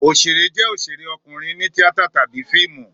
Òṣèré jẹ́ òṣèré ọkùnrin ní tíátà tàbí fíìmù.